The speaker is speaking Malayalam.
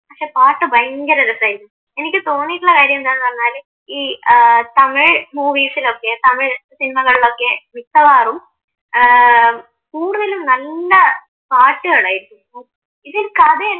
പക്ഷെ പാട്ട് ഭയങ്കരം രസമായിരിക്കും എനിക്ക് തോന്നിയിട്ടുള്ള കാര്യമെന്താണെന്നു പറഞ്ഞാല് ഈ തമിഴ് മൂവീസിലൊക്കെ തമിഴ് സിനിമകളിലൊക്കെ മിക്കവാറും ഏർ കൂടുതലും നല്ല പാട്ടുകളായിരിക്കും ഇത് കഥ